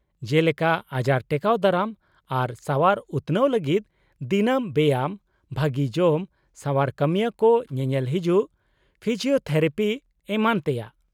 -ᱡᱮᱞᱮᱠᱟ ᱟᱡᱟᱨ ᱴᱮᱠᱟᱣ ᱫᱟᱨᱟᱢ ᱟᱨ ᱥᱟᱣᱟᱨ ᱩᱛᱱᱟᱹᱣ ᱞᱟᱹᱜᱤᱫ ᱫᱤᱱᱟᱹᱢ ᱵᱮᱭᱟᱢ, ᱵᱷᱟᱹᱜᱤ ᱡᱚᱢ, ᱥᱟᱣᱟᱨ ᱠᱟᱹᱢᱤᱭᱟᱹ ᱠᱚ ᱧᱮᱞᱮᱞ ᱦᱤᱡᱩᱜ, ᱯᱷᱤᱡᱤᱣᱛᱷᱮᱨᱟᱯᱤ ᱮᱢᱟᱱ ᱛᱮᱭᱟᱜ ᱾